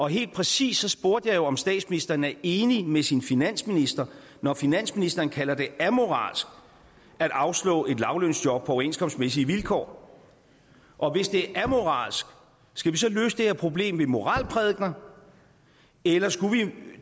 helt præcist spurgte jeg jo om statsministeren er enig med sin finansminister når finansministeren kalder det amoralsk at afslå et lavtlønsjob på overenskomstmæssige vilkår og hvis det er amoralsk skal vi så løse det her problem med moralprædikener eller skulle vi